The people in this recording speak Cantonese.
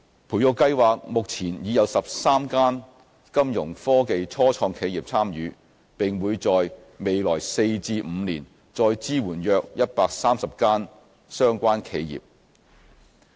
培育計劃目前已有13間金融科技初創企業參與，並會在未來4至5年再支援約130間相關企業。